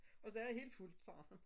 Og der er helt fuldt sagde han